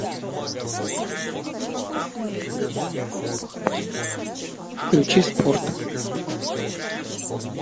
включи спорт